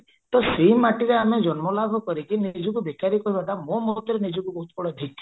ତ ସେଇ ମାଟିରେ ଆମେ ଜନ୍ମ ଲାଭ କରିକି ନିଜକୁ ବେକାରି କହିବାଟା ମୋ ମତରେ ନିଜକୁ ବହୁତ ବଡ ଧିକ